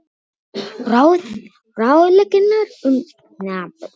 ráðleggingar um mataræði og næringarefni